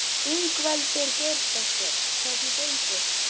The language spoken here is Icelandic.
Ingveldur Geirsdóttir: Hvernig gengur?